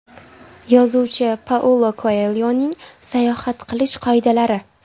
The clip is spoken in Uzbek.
Yozuvchi Paulo Koelyoning sayohat qilish qoidalari.